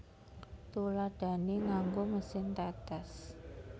Tuladhané nganggo mesin tetes